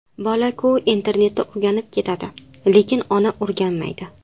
Bolaku internatda o‘rganib ketadi, lekin ona o‘rganmaydi.